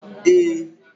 Ee